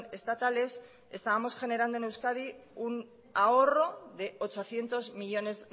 estatales estábamos generando en euskadi un ahorro de ochocientos millónes